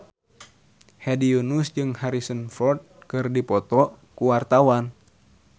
Hedi Yunus jeung Harrison Ford keur dipoto ku wartawan